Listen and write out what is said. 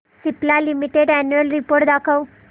Cipla limited annual report दाखव